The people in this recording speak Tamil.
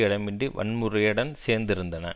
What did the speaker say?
இடமின்றி வன்முறையுடன் சேர்ந்திருந்தன